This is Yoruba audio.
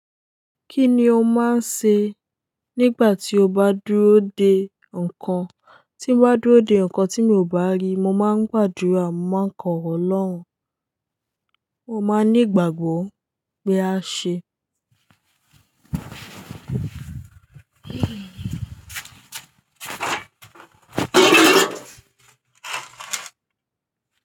Kí ni o máa ń ṣe nígbà tí o bá dúró de nǹkan? Tí mo bá dúró de nǹkan tí mi ò bá rí, mo máa ń gbàdúrà mo máa ń kọ oro Ọlọ́run. Mo máa ní ìgbàgbọ́ pé a ṣe.